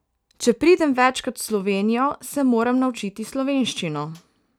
Če pridem večkrat v Slovenijo, se moram naučiti slovenščino.